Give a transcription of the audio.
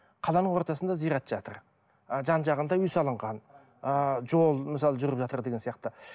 қаланың ортасында зират жатыр ы жан жағында үй салынған ыыы жол мысалы жүріп жатыр деген сияқты